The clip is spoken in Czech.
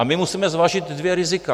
A my musíme zvážit dvě rizika.